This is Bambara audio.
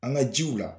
An ka jiw la